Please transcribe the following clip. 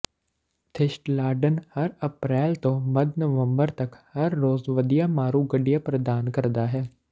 ਥਿਸਟਲਾਡਨ ਹਰ ਅਪ੍ਰੈਲ ਤੋਂ ਮੱਧ ਨਵੰਬਰ ਤੱਕ ਹਰ ਰੋਜ਼ ਵਧੀਆ ਮਾਰੂ ਗੱਡੀਆਂ ਪ੍ਰਦਾਨ ਕਰਦਾ ਹੈ